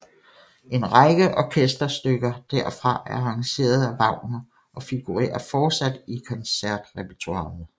En række orkesterstykker derfra er arrangeret af Wagner og figurerer fortsat i koncertrepertoiret